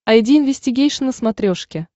айди инвестигейшн на смотрешке